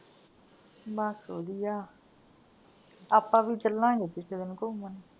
ਬੱਸ ਵਧਿਆ, ਆਪਾਂ ਵੀ ਚੱਲਾਂਗੇ ਕਿਸੀ ਦਿਨ ਘੁੰਮਣ।